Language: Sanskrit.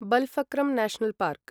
Balpakram National park